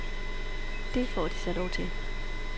Det får de så lov til.